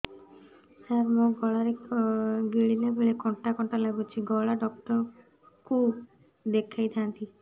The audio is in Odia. ସାର ମୋ ଗଳା ରେ ଗିଳିଲା ବେଲେ କଣ୍ଟା କଣ୍ଟା ଲାଗୁଛି ଗଳା ଡକ୍ଟର କୁ ଦେଖାଇ ଥାନ୍ତି